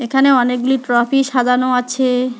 এখানে অনেকগুলি ট্রফি সাজানো আছে।